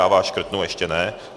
Já vás škrtnu, ještě ne.